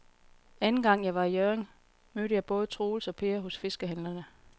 Anden gang jeg var i Hjørring, mødte jeg både Troels og Per hos fiskehandlerne.